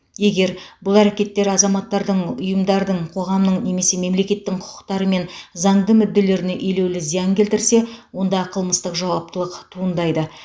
егер бұл әрекеттер азаматтардың ұйымдардың қоғамның немесе мемлекеттің құқықтары мен заңды мүдделеріне елеулі зиян келтірсе онда қылмыстық жауаптылық туындайды